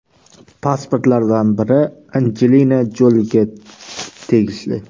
Pasportlardan biri Anjelina Joliga tegishli.